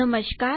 નમસ્કાર